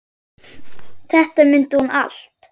Þetta mundi hún allt.